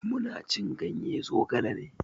Mu na cin ganye zogale ne.